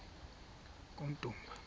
kummdumba